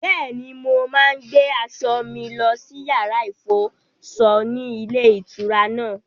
Bẹ́ẹ̀ni, mo máa ń gbé aṣọ mi lọ sí yàrá-ìfọṣọ ní ilé-ìtura náà.